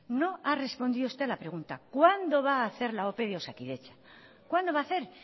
no ha respondido usted a la pregunta cuándo va a hacer la ope de osakidetza cuándo va a hacer